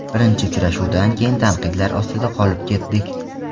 Birinchi uchrashuvdan keyin tanqidlar ostida qolib ketdik.